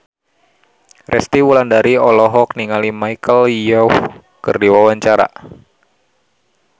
Resty Wulandari olohok ningali Michelle Yeoh keur diwawancara